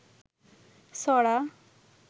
ছড়া